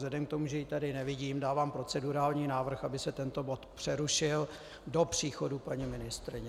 Vzhledem k tomu, že ji tady nevidím, dávám procedurální návrh, aby se tento bod přerušil do příchodu paní ministryně.